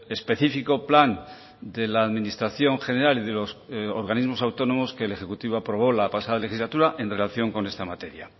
específico plan de la administración general y de los organismos autónomos que el ejecutivo aprobó la pasada legislatura en relación con esta materia